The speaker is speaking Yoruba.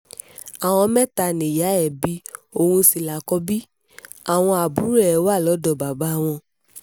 àwọn mẹ́ta nìyá ẹ bí òun sì lákọ̀bí àwọn àbúrò ẹ̀ wà lọ́dọ̀ bàbá wọn